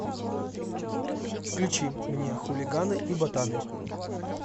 включи мне хулиганы и ботаны